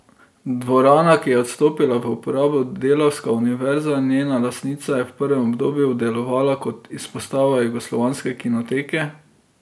Dvorana, ki jo je odstopila v uporabo Delavska univerza, njena lastnica, je v prvem obdobju delovala kot izpostava Jugoslovanske kinoteke.